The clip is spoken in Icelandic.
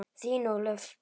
Þín, Ólöf.